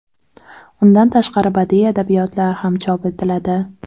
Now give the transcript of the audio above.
Undan tashqari badiiy adabiyotlar ham chop etiladi.